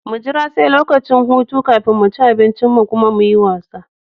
Mu jira sai lokacin hutu kafin mu ci abinci mu kuma muyi wasa.